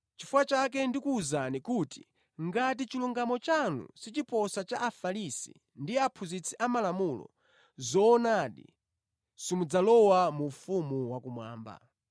Chifukwa chake ndikuwuzani kuti ngati chilungamo chanu sichiposa cha Afarisi ndi aphunzitsi amalamulo, zoonadi, simudzalowa mu ufumu wakumwamba.